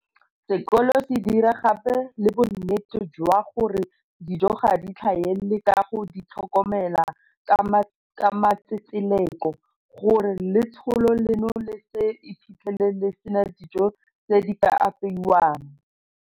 Sekolo se dira gape le bonnete jwa gore dijo ga di tlhaele ka go di tlhokomela ka matsetseleko, gore letsholo leno le se iphitlhele le sena dijo tse di ka apeewang.